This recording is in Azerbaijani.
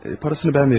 Parasını mən verəcəyəm.